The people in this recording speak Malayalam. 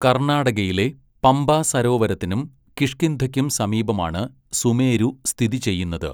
കർണാടകയിലെ പമ്പ സരോവരത്തിനും കിഷ്കിന്ധയ്ക്കും സമീപമാണ് സുമേരു സ്ഥിതി ചെയ്യുന്നത്.